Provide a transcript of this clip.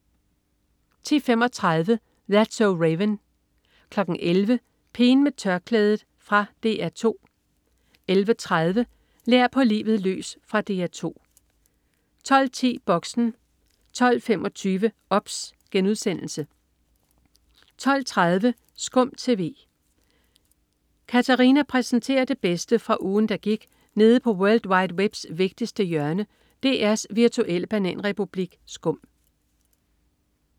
10.35 That's so Raven 11.00 Pigen med tørklædet. Fra DR 2 11.30 Lær på livet løs. Fra DR 2 12.10 Boxen 12.25 OBS* 12.30 SKUM TV. Katarina præsenterer det bedste fra ugen, der gik nede på world wide webs vigtigste hjørne, DR's virtuelle bananrepublik SKUM